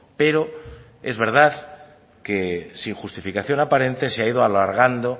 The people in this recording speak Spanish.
pero es verdad que sin justificación aparente se ha ido alargando